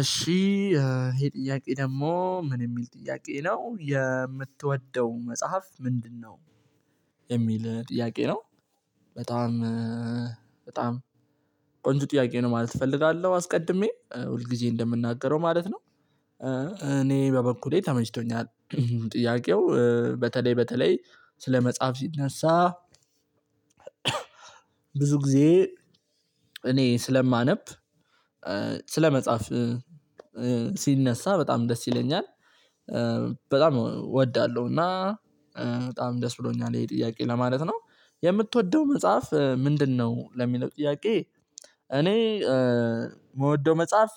እሺ ይሄ ጥያቄ ደግሞ ምን የሚል ጥያቄ ነው የምትወደው መጽሐፍ ምንድነው? የሚል ጥያቄ ነው። በጣም በጣም ቆንጆ ጥያቄ ነው ማለት እፈልጋለሁ አስቀድሜ ሁል ጊዜ እንደምናገረው ማለት ነው። በበኩሌ ተመችቶኛል ጥያቄው በተለይ በተለይ ስለ መጽሐፍ ሲነሳ። ብዙ ጊዜ እኔ ስለማነብ መጽሐፍ ሲነሳ በጣም ደስ ይለኛል። በጣም እወዳለሁ እና በጣም ደስ ብሎኛል ይሄ ጥያቄ ለማለት ነው። የምትወደው መጽሐፍ ምንድነው? ለሚለው ጥያቄ እኔ የምወደው መጽሐፍ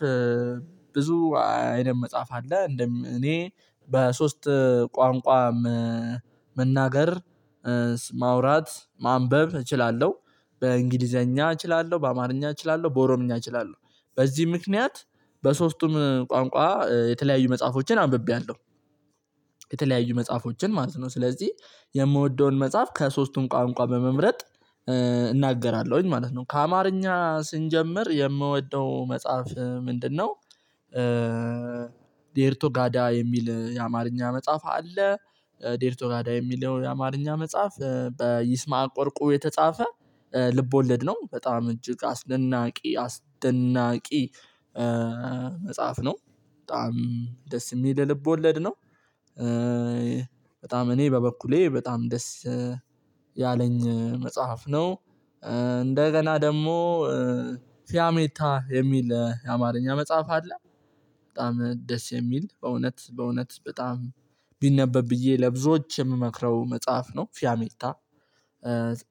ብዙ አይነት መጽሐፍ አለ። እንደም እኔ በሶስት ቋንቋ መናገር ማውራት ማንበብ እችላለሁ። በእንግሊዘኛ እችላለሁ በአማርኛ እችላለሁ በኦሮምኛ እችላለሁ። በዚህ ምክንያት በሶስቱም ቋንቋ የተለያዩ መጽሐፎችን አንብቤያለሁ። የተለያዩ መጽሐፎችን ማለት ነው። ስለዚህ የምወደውን መጽሐፍ ከሶስቱም ቋንቋ በመምረጥ እናገራለሁኝ ማለት ነው። ከአማርኛ ስንጀምር የምወደው መጽሐፍ ምንድነው? ዴርቶጋዳ የሚል የአማርኛ መጽሐፍ አለ። ዴርቶጋዳ የሚለው የአማርኛ መጽሐፍ ወርቁ የተጻፈ ልብ ወለድ ነው። በጣም እጅግ አስደናቂ አስደናቂ መጽሐፍ ነው። በጣም ደስ የሚል ልብ ወለድ ነው። በጣም እኔ በበኩሌ በጣም ደስ ያለኝ መጽሐፍ ነው። እንደገና ደግሞ ፊያሜታ የሚል የአማርኛ መጽሐፍ አለ። በጣም ደስ የሚል በእውነት በእውነት በጣም ቢነበብ ብዬ ለብዙዎች የምመክረው መጽሐፍ ነው። ፊያሚልታ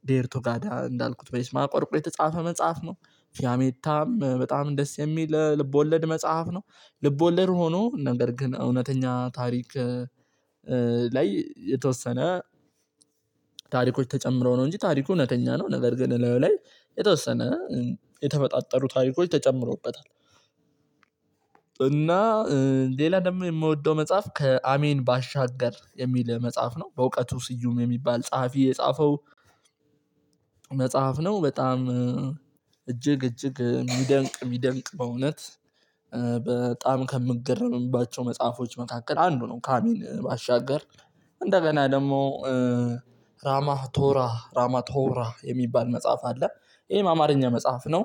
ዴርቶጋዳ እንዳልኩት በይስማ ወርቁ የተጻፈ መጽሐፍ ነው። ፊያሜታም በጣም ደስ የሚል ልቦለድ መጽሐፍ ነው። ልቦለድ ሆኖ ነገር ግን እውነተኛ ታሪክ። ላይ የተወሰነ ታሪኮች ተጨምሮ ነው እንጂ ታሪኩ እውነተኛ ነው። ነገር ግን ላዩ ላይ የተወሰነ የተፈጣጠሩ ታሪኮች ተጨምሮበታል። እና ሌላ ደግሞ የምወደው መጽሐፍ ከአሜን ባሻገር የሚል መጽሐፍ ነው በእውቀቱ ስዩም የሚባል ጸሐፊ የጻፈው። መጽሐፍ ነው በጣም እጅግ እጅግ የሚደንቅ የሚደንቅ በእውነት በጣም ከምገረምባቸው መጽሐፎች መካከል አንዱ ነው። ካሚን ባሻገር ደግሞ ራማቶራ ራማቶራ የሚባል መጽሐፍ አለ። ይሄ አማርኛ መጽሐፍ ነው።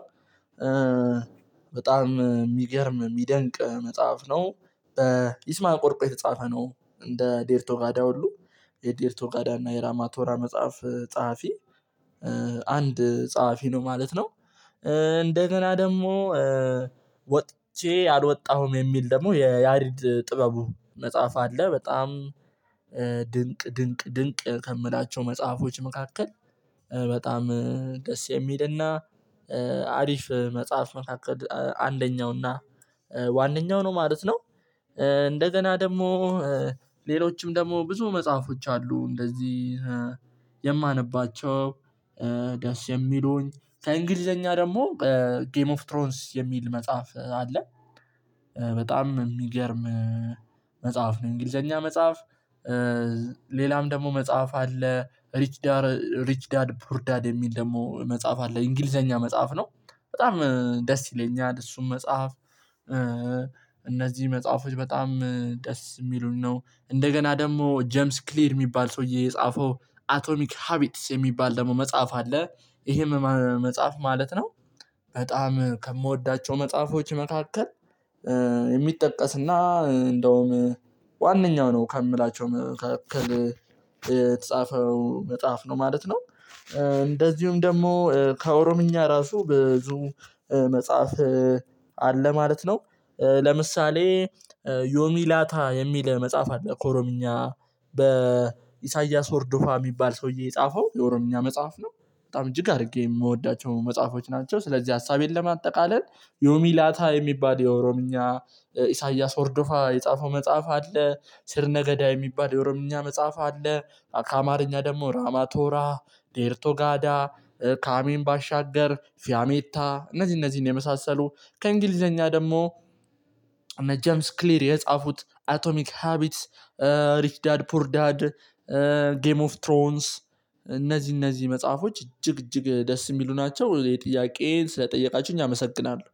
በጣም የሚገርም የሚደንቅ መጽሐፍ ነው። ይስማከ ወርቁ የተጻፈ ነው። እንደ ዴርቶጋዳ ሁሉ ዴርቶጋዳ እና የራማቶራ መጽሐፍ ጸሐፊ አንድ ጸሐፊ ነው ማለት ነው። እንደገና ደግሞ አልወጣሁም የሚል ደግሞ የያሬድ ጥበቡ መጽሐፍ አለ። በጣም ድንቅ ድንቅ ከምላቸው መጽሐፎች መካከል በጣም ደስ የሚልና አሪፍ መጽሐፍ መካከል አንደኛውና ዋነኛው ነው ማለት ነው። እንደገና ደግሞ ሌሎችም ደግሞ ብዙ መጽሐፎች አሉ። እንደዚህ የማነባቸው ደስ የሚሉኝ ከእንግሊዘኛ ደግሞ ጌም ኦፍ ትሮንስ የሚል መጽሐፍ አለ። በጣም የሚገርም መጽሐፍ ነው። እንግሊዘኛ መጽሐፍ ደግሞ መጽሐፍ አለ ሪች ዳድ ሪች ዳድ ፑር ዳድ የሚል ደግሞ መጽሐፍ አለ እንግሊዘኛ ነው። በጣም ደስ ይለኛል እሱም መጽሐፍ። እነዚህ መጽሐፎች በጣም ደስ የሚሉን ነው። እንደገና ደግሞ ጀምስ ክሊር የሚባል ሰውዬ የጻፈው አቶሚክ ሀቢትስ የሚባል ደግሞ መጽሐፍ አለ። ይሄም መጽሐፍ ማለት ነው። በጣም ከምወዳቸው መጽሐፎች መካከል የሚጠቀስና እንደውም ዋነኛው ነው ከምላቸው መካከል የተጻፈው መጽሐፍ ነው ማለት ነው። እንደዚሁም ደግሞ ከኦሮምኛ ራሱ ብዙ መጽሐፍ አለ ማለት ነው። ለምሳሌ ዮሚላታ የሚል መጽሐፍ አለ ከኦሮምኛ በኢሳያስ ወርዶፋ የሚባል ሰውዬ የጻፈው የኦሮምኛ መጽሐፍ ነው። በጣም እጅግ አድርጌ የምወዳቸው መጽሐፎች ናቸው። ስለዚህ ሀሳቤን ለማጠቃለል ዮሚላታ የሚባል የኦሮምኛ ኢሳያስ ወርዶፋ የጻፈው መጽሐፍ አለ ስር ነገዳ የሚባል የኦሮምኛ መጽሐፍ። ራማቶራ ዴርቶጋዳ ከአሜን ባሻገር ፊያሜታ እነዚህ እነዚህን የመሳሰሉ ከእንግሊዘኛ ደግሞ እነ ጀምስ ክሊር የጻፉት አቶሚክ ሃቢትስ ሪች ዳድ ፑር ዳድ ጌም ኦፍ ትሮንስ እነዚህ እነዚህ መጽሐፎች እጅግ እጅግ ደስ የሚሉ ናቸው። የጥያቄን ስለጠየቃችሁኝ አመሰግናለሁ